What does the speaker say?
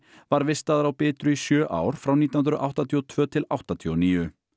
var vistaður á Bitru í sjö ár frá nítján hundruð áttatíu og tvö til áttatíu og níu